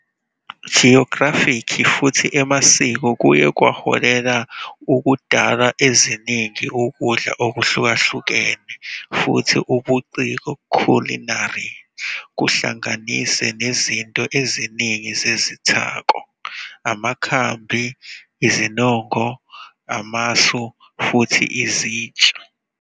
Geographic futhi Emasiko kuye kwaholela ukudalwa eziningi ukudla okuhlukahlukene futhi ubuciko Culinary, kuhlanganise nezinto eziningi zezithako, amakhambi, izinongo, amasu, futhi izitsha.